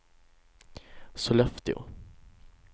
Sollefteå